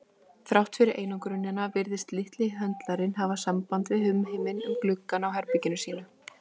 Þrátt fyrir einangrunina virtist litli höndlarinn hafa samband við umheiminn um gluggann á herbergi sínu.